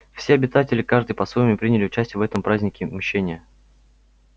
все обитатели каждый по-своему приняли участие в этом празднике мщения